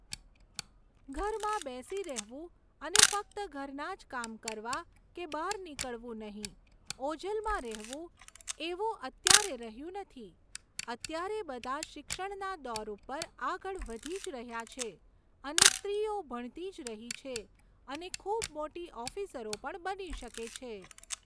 ઘરમાં બેસી રહેવું અને ફક્ત ઘરના જ કામ કરવા કે બહાર નીકળવું નહીં ઓજલમાં રહેવું એવું અત્યારે રહ્યું નથી. અત્યારે બધા શિક્ષણના દોર ઉપર આગળ વધી જ રહ્યા છે અને સ્ત્રીઓ ભણતી જ રહી છે અને ખૂબ મોટી ઓફિસરો પણ બની શકે છે